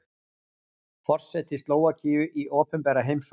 Forseti Slóvakíu í opinbera heimsókn